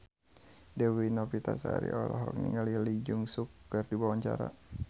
Dewi Novitasari olohok ningali Lee Jeong Suk keur diwawancara